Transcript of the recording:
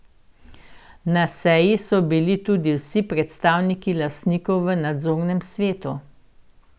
Na seji so bili tudi vsi predstavniki lastnikov v nadzornem svetu.